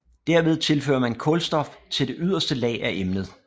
Derved tilfører man kulstof til det yderste lag af emnet